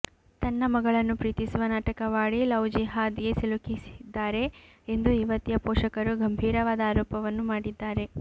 ತನ್ನ ಮಗಳನ್ನು ಪ್ರೀತಿಸುವ ನಾಟಕವಾಡಿ ಲವ್ಜಿಹಾದ್ಗೆ ಸಿಲುಕಿಸಿದ್ದಾರೆ ಎಂದು ಯುವತಿಯ ಪೋಷಕರು ಗಂಭೀರವಾದ ಆರೋಪವನ್ನು ಮಾಡಿದ್ದಾರೆ